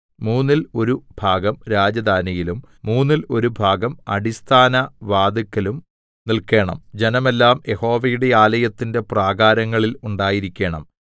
മൂന്നിൽ ഒരു ഭാഗം രാജധാനിയിലും മൂന്നിൽ ഒരു ഭാഗം അടിസ്ഥാനവാതിൽക്കലും നിൽക്കേണം ജനമെല്ലാം യഹോവയുടെ ആലയത്തിന്റെ പ്രാകാരങ്ങളിൽ ഉണ്ടായിരിക്കേണം